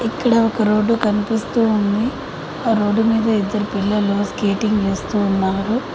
ఇక్కడ ఒక రోడ్డు కనిపిస్తూ ఉంది. ఆ రోడ్డు మీద ఇద్దరు పిల్లలు స్కేటింగ్ చేస్తూ ఉన్నారు.